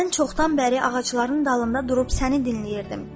Mən çoxdan bəri ağacların dalında durub səni dinləyirdim,